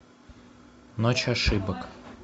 ночь ошибок